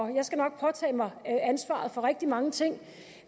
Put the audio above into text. jeg skal nok påtage mig ansvaret for rigtig mange ting